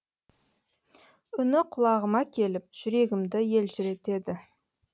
үні құлағыма келіп жүрегімді елжіретеді